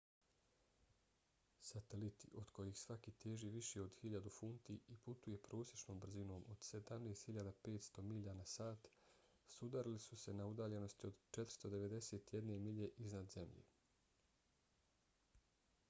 sateliti od kojih svaki teži više od 1.000 funti i putuje prosječnom brzinom od 17.500 milja na sat sudarili su se na udaljenosti od 491 milje iznad zemlje